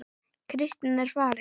Kristín er farin